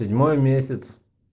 седьмой месяц